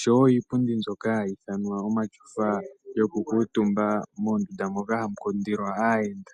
nenge iipundi mbyoka yomatyofa yoku kuutumba mondunda moka hamu kundilwa aayenda.